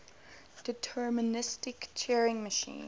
deterministic turing machine